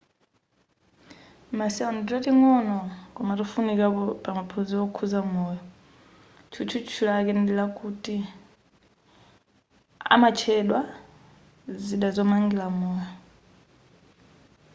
ma cell ndi tating'ono koma tofunikira pamaphunziro okhuza moyo tchutchutchu lake ndikuti amatchedwa zida zomangira moyo